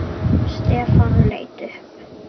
Stefán leit upp.